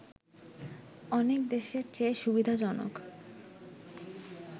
অনেক দেশের চেয়ে সুবিধাজনক